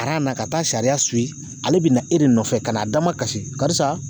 na ka taa sariya ale be na e de nɔfɛ ka n'a damakasi karisa